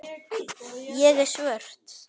Ég er svört.